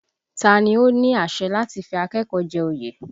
Ta ni ó ní àṣẹ láti fi akẹ́kọ̀ọ́ jẹ oyè?